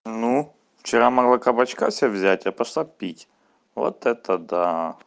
ну вчера могла кабачка себя взять я пошла пить вот это да